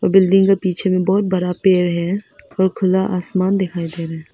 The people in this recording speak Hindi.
बिल्डिंग के पीछे में बहुत बड़ा पेड़ है और खुला आसमान दिखाई दे रहा है।